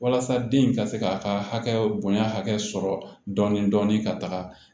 Walasa den ka se k'a ka hakɛ bonya hakɛ sɔrɔ dɔɔni dɔɔni ka taga